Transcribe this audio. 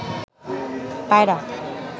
পায়রা